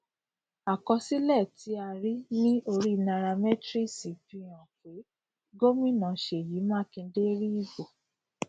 àkọsílẹ tí a rí ní orí nairametrics fi hàn pé gómìnà seyi makinde rí ìbò